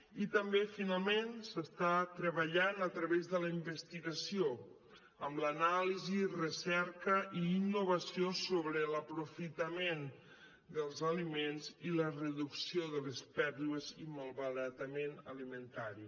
i també finalment s’està treballant a través de la investigació amb l’anàlisi recerca i innovació sobre l’aprofitament dels aliments i la reducció de les pèrdues i malbaratament alimentari